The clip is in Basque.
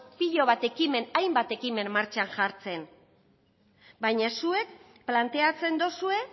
pilo bat ekimen hainbat ekimen martxan jartzen baina zuek planteatzen duzue